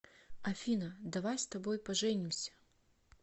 афина давай с тобой поженимся